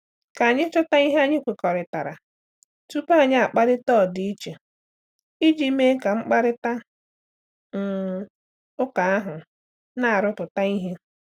Ka anyị chọta ihe anyị kwekọrịtara tupu anyị akparịta ọdịiche iji mee ka mkparịta um ụka ahụ na-arụpụta ihe.